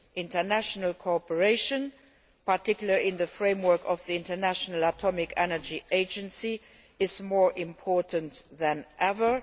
International cooperation, particularly in the framework of the International Atomic Energy Agency, is more important than ever.